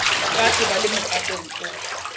faatshe ba le mokatong o